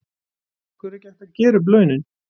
Af hverju er ekki hægt að gera upp launin?